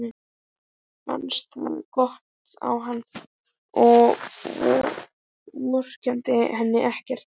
Fannst það gott á hana og vorkenndi henni ekkert.